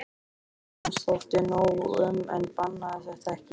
Móður hans þótti nóg um en bannaði þetta ekki.